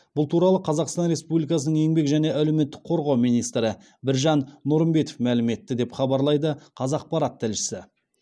бұл туралы қазақстан республикасының еңбек және әлеуметтік қорғау министрі біржан нұрымбетов мәлім етті деп хабарлайды қазақпарат тілшісі